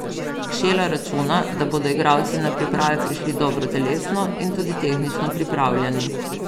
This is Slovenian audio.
Kšela računa, da bodo igralci na priprave prišli dobro telesno in tudi tehnično pripravljeni.